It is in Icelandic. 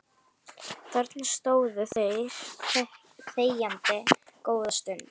Þarna stóðu þeir þegjandi góða stund